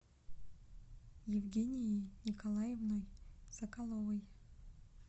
евгенией николаевной соколовой